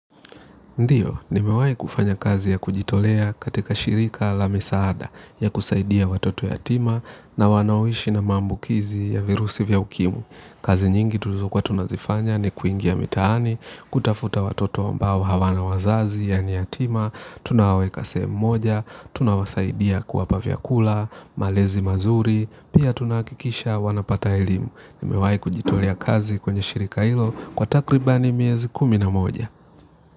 Ndiyo, nimewai kufanya kazi ya kujitolea katika shirika la misaada ya kusaidia watoto yatima na wanaoishi na maambukizi ya virusi vya ukimwi. Kazi nyingi tulizokua tunazifanya ni kuingia mitaani, kutafuta watoto ambao hawana wazazi yani yatima, tunawaweka sehemu moja, tunawasaidia kuwapa vyakula, malezi mazuri, pia tunahakikisha wanapata elimu. Nimewai kujitolea kazi kwenye shirika hilo kwa takribani miezi kumi na moja.